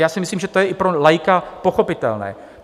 Já si myslím, že to je i pro laika pochopitelné.